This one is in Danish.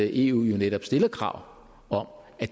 eu jo netop stiller krav om at